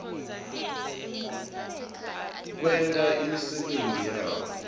kwenta imisebenti yabo